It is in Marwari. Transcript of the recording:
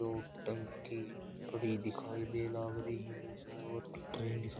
दो टंकी पड़ी दिखाई दे लग रही है और ट्रेन दिखाई--